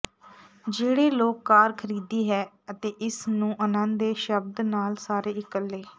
ਜਿਹੜੇ ਲੋਕ ਕਾਰ ਖਰੀਦੀ ਹੈ ਅਤੇ ਇਸ ਨੂੰ ਆਨੰਦ ਦੇ ਸ਼ਬਦ ਨਾਲ ਸਾਰੇ ਇਕੱਲੇ